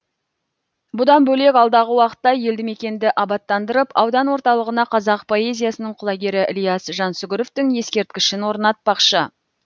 бұдан бөлек алдағы уақытта елді мекенді абаттандырып аудан орталығына қазақ поэзиясының құлагері ілияс жансүгіровтің ескерткішін орнатпақшы